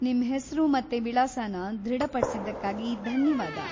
ನಿಮ್ ಹೆಸ್ರು ಮತ್ತೆ ವಿಳಾಸನ ದೃಢಪಡ್ಸಿದ್ಕಾಗಿ ಧನ್ಯವಾದ.